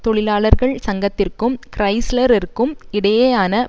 தொழிலாளர்கள் சங்கத்திற்கும் கிறைஸ்லர் இற்கும் இடையேயான